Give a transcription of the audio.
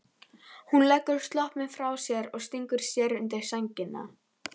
Hún leggur sloppinn frá sér og stingur sér undir sængina.